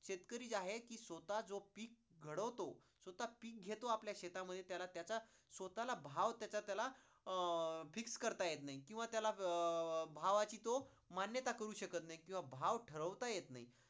शेतकरी जी आहे ते स्वतः जो पीक घडवतो, स्वतः पीक घेतो आपल्या शेतामध्ये त्याला त्याचा स्वतःला भाव त्याचा त्याला अं fix करता येत नाही किंवा त्याला अं भावाची तो मान्यता करू शकत नाही किंवा भाव ठरवता येत नाही.